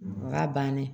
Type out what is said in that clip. Ka ban dɛ